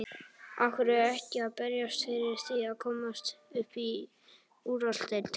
Af hverju ekki að berjast fyrir því að komast upp í úrvalsdeild?